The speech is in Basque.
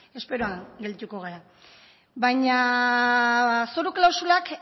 beno esperoan geldituko gara zoru klausulak